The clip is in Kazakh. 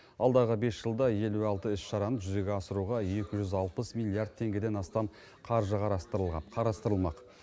алдағы бес жылда елу алты іс шараны жүзеге асыруға екі жүз алпыс миллиард теңгеден астам қаржы қарастырылмақ